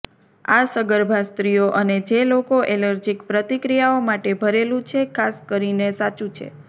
આ સગર્ભા સ્ત્રીઓ અને જે લોકો એલર્જીક પ્રતિક્રિયાઓ માટે ભરેલું છે ખાસ કરીને સાચું છે